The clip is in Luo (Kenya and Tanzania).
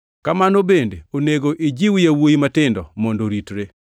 Kamano bende onego ijiw yawuowi matindo mondo oritre.